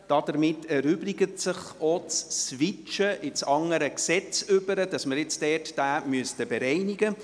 Damit erübrigt sich das Switchen ins andere Gesetz, um diesen zu bereinigen.